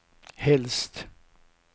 helst